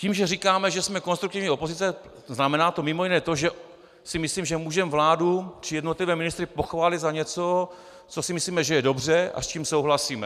Tím, že říkáme, že jsme konstruktivní opozice, znamená to mimo jiné to, že si myslím, že můžeme vládu či jednotlivé ministry pochválit za něco, co si myslíme, že je dobře a s čím souhlasíme.